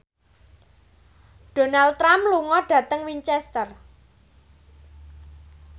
Donald Trump lunga dhateng Winchester